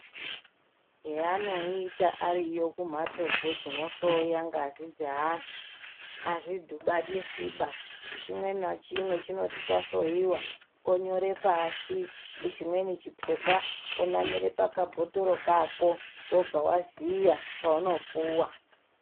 Zveanoita ariyo kumhatso dzo dzinohloya ngazi dzeanhu azvidhibaniswiba chimwe nachimwe chinoti chahloyiwa onyore pashi chimweni chipepa onamire pakabhotoro kako wobva waziya paunopuwa.